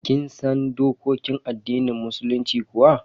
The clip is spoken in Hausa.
Kin san dokokin addinin musulunci kuwa?